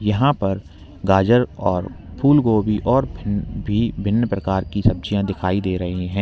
यहां पर गाजर और फूलगोभी और भी भिन्न प्रकार की सब्जियां दिखाई दे रही है।